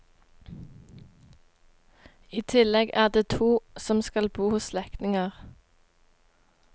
I tillegg er det to som skal bo hos slektninger.